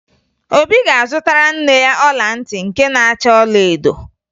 Obi ga-azụtara nne ya ọla ntị nke na-acha ọlaedo